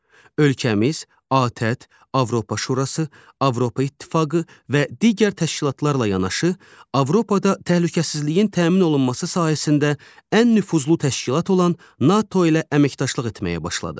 Ölkəmiz ATƏT, Avropa Şurası, Avropa İttifaqı və digər təşkilatlarla yanaşı, Avropada təhlükəsizliyin təmin olunması sahəsində ən nüfuzlu təşkilat olan NATO ilə əməkdaşlıq etməyə başladı.